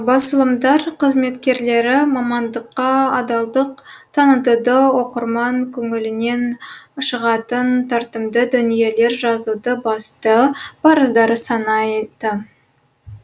басылымдар қызметкерлері мамандыққа адалдық танытуды оқырман көңілінен шығатын тартымды дүниелер жазуды басты парыздары санайды